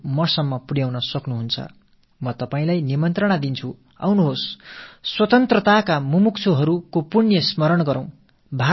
சுதந்திரப் போராட்டத் தியாகிகள் பற்றிய புண்ணியம் நிறைந்த நினைவுகளால் நம்மை நிரம்பிக் கொள்வோம் வாருங்கள்